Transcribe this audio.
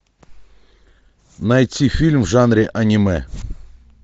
найти фильм в жанре аниме